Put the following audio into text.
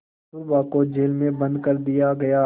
कस्तूरबा को जेल में बंद कर दिया गया